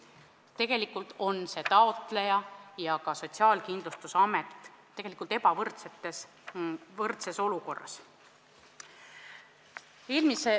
Tegelikult on see taotleja ja SKA ebavõrdses olukorras.